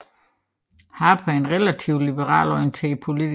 Harper er en relativt liberalt orienteret politiker